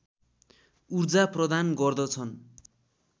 उर्जा प्रदान गर्दछन्